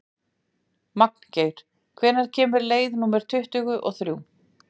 Magngeir, hvenær kemur leið númer tuttugu og þrjú?